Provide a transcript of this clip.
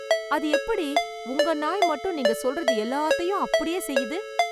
அது எப்படி... உங்க நாய் மட்டும் நீங்க சொல்றது எல்லாத்தையும் அப்படியே செய்து ?